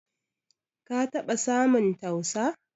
Ka taba samun tausa?